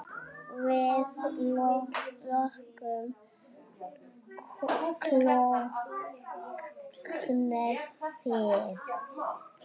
Við lokum klukkan fimm.